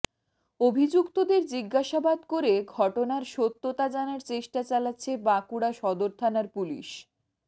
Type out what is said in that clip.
অভিযুক্তদের জিজ্ঞাসাবাদ করে ঘটনার সত্যতা জানার চেষ্টা চালাচ্ছে বাঁকুড়া সদর থানার পুলিশ